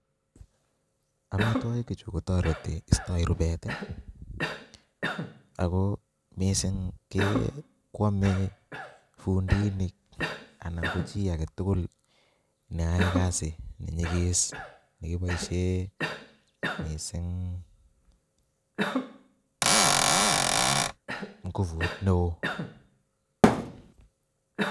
Amitwokichu kotoreti istoi rubet ak ko mising kwome fundinik anan ko chii aketukul neyoe kasi nenyikis nekiboishe mising ngubut neoo.